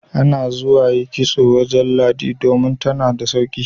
Ana zuwa yi kitso wajen Ladi don tana da sauki.